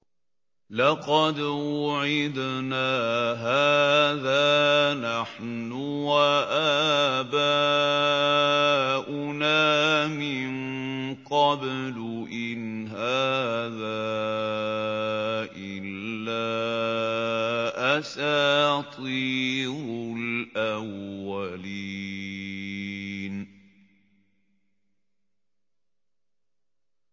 لَقَدْ وُعِدْنَا هَٰذَا نَحْنُ وَآبَاؤُنَا مِن قَبْلُ إِنْ هَٰذَا إِلَّا أَسَاطِيرُ الْأَوَّلِينَ